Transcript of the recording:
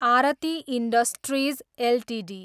Aarti industries Ltd